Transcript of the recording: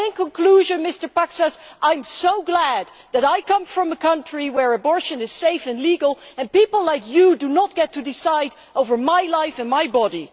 In conclusion, Mr Paksas, I am so glad that I come from a country where abortion is safe and legal and people like you do not get to decide over my life and my body.